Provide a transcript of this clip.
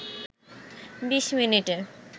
২০ মিনিটে